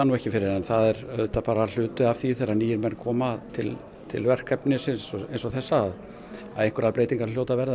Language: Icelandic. ekki fyrir en það er hluti af því þegar nýir menn koma til til verkefnisins eins og þessa að einhverjar breytingar hljóta að verða